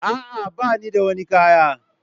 A'a, ba ni da wani kaya.